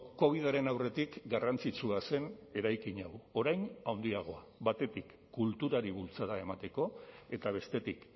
covidaren aurretik garrantzitsua zen eraikin hau orain handiagoa batetik kulturari bultzada emateko eta bestetik